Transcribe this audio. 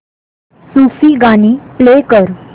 सूफी गाणी प्ले कर